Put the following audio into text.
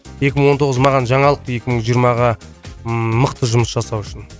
екі мың он тоғыз маған жаңалық екі мың жиырмаға ммм мықты жұмыс жасау үшін